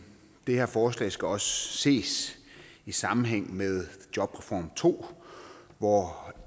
det her forslag skal også ses i sammenhæng med jobreform to hvor